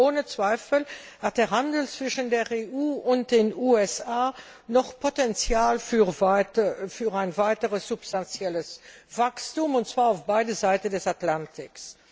Ohne Zweifel hat der Handel zwischen der EU und den USA noch Potenzial für ein weiteres substanzielles Wachstum, und zwar auf beiden Seiten des Atlantiks.